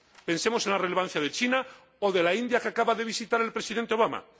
pensemos en la relevancia de China o de la India, que acaba de visitar el Presidente Obama.